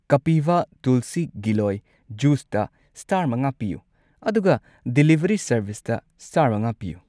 ꯀꯄꯤꯚꯥ ꯇꯨꯜꯁꯤ ꯒꯤꯂꯣꯏ ꯖꯨꯁꯇ ꯁ꯭ꯇꯥꯔ ꯃꯉꯥ ꯄꯤꯌꯨ, ꯑꯗꯨꯒ ꯗꯤꯂꯤꯚꯔꯤ ꯁꯔꯕꯤꯁꯇ ꯁꯇꯥꯔ ꯃꯉꯥ ꯄꯤꯌꯨ꯫